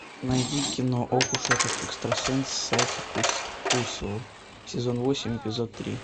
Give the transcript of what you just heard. найди кино ох уж этот экстрасенс сайки кусуо сезон восемь эпизод три